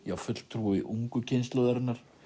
fulltrúi ungu kynslóðarinnar